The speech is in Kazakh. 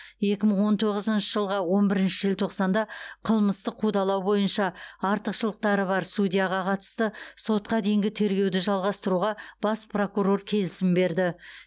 екі мың он тоғызыншы жылғы он бірінші желтоқсанда қылмыстық қудалау бойынша артықшылықтары бар судьяға қатысты сотқа дейінгі тергеуді жалғастыруға бас прокурор келісім берді